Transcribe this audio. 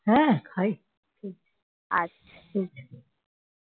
হ্যাঁ খাইতো